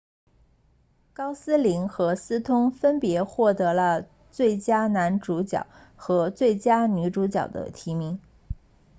高斯林和斯通分别获得了最佳男主角和最佳女主角的提名